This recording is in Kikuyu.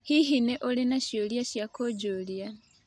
Hihi nĩ ũrĩ na ciũria cia kũnjũria?